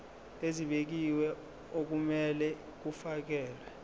ezibekiwe okumele kufakelwe